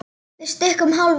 Við stukkum hálfa leið.